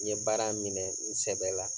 N ye baara minɛ n sɛbɛ la